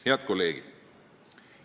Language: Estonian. " Head kolleegid!